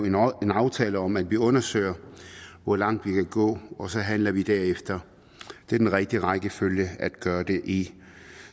indgå en aftale om at vi undersøger hvor langt vi kan gå og så handler vi derefter det er den rigtige rækkefølge at gøre det i